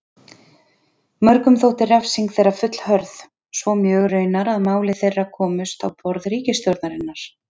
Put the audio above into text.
Mörgum þótti refsing þeirra fullhörð, svo mjög raunar að mál þeirra komust á borð ríkisstjórnarinnar.